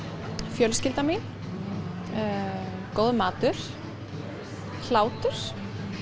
fjölskyldan mín góður matur hlátur